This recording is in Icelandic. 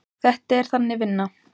Þetta er Þannig vinna.